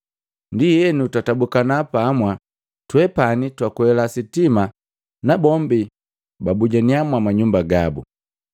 Ndienu twatabukana pamwa, twepani twakwela sitima nabombi babujaniya mwama nyumba gabu.